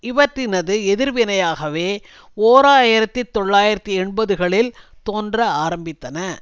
இவற்றினது எதிர்வினையாகவே ஓர் ஆயிரத்தி தொள்ளாயிரத்தி எண்பதுகளில் தோன்ற ஆரம்பித்தன